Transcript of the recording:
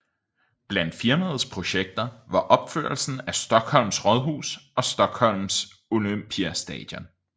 Blandt firmaets projekter var opførelsen af Stockholms rådhus og Stockholm Olympiastadion